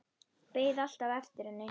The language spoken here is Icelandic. Beið alltaf eftir henni.